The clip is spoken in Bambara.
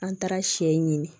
An taara sɛ ɲini